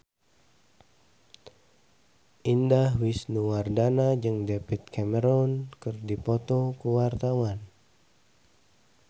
Indah Wisnuwardana jeung David Cameron keur dipoto ku wartawan